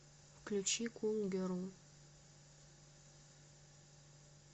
включи кул герл